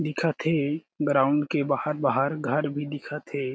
दिखत हे ग्राउंड के बाहर-बाहर घर भी दिखत हे।